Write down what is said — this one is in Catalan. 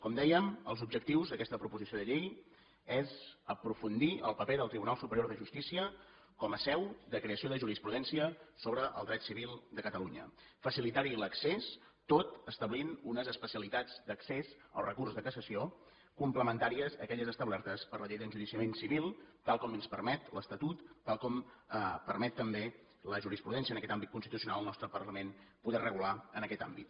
com dèiem els objectius d’aquesta proposició de llei són aprofundir el paper del tribunal superior de justícia com a seu de creació de jurisprudència sobre el dret civil de catalunya facilitar hi l’accés tot establint unes especialitats d’accés al recurs de cassació complementàries a aquelles establertes per la llei d’enjudiciament civil tal com ens permet l’estatut tal com permet també la jurisprudència en aquest àmbit constitucional al nostre parlament poder regular en aquest àmbit